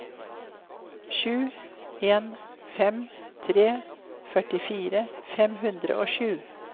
sju en fem tre førtifire fem hundre og sju